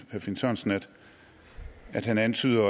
herre finn sørensen at han antydede